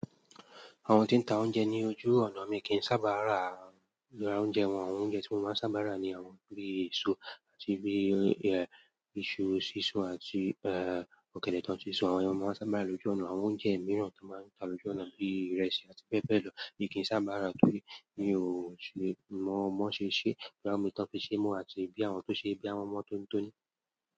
Àwọn tí ń ta oúnjẹ ní ojú ọ̀nà mi kì ń sábà rà àwọn oúnjẹ wọn. Àwọn oúnjẹ tí mo máa ń sábà rà ni àwọn bíi èso àti bíi, eh, iṣu sísun àti, eh, ọ̀gẹ̀dẹ̀ tán tí sún. Àwọn ọmọ máa ń sábà rà lójú ọ̀nà. Àwọn oúnjẹ mìíràn tí wọ́n máa ń ta lójú ọ̀nà bíi ìrẹsì àti bẹ́ẹ̀ bẹ́ẹ̀ lọ mi kì ń sáábà rà torí mi ò ṣe mọ̀ mọ̀ bí wọn ṣe ṣé, bóyá omi tí wọn fi ṣe mọ́ àti bóyá àwọn tí wọn ṣe bóyá wọn mọ́ tóńi tóni.